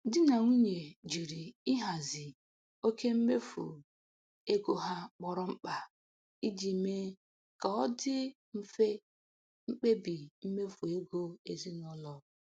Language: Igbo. Di na nwunye jiri ihazi oke mmefu ego ha kpọrọ mkpa iji mee ka ọ dị mfe mkpebi mmefu ego ezinụlọ.